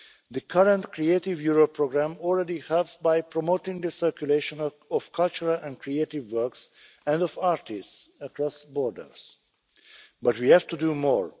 is indeed critical. The current Creative Europe programme already helps by promoting the circulation of cultural and creative works and of artists across borders but